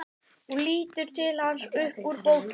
Hún lítur til hans upp úr bókinni.